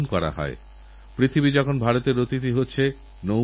আর এটাই তো যথার্থ সামাজিক সুরক্ষা রাখীবন্ধনেরসঠিক অর্থই তো এই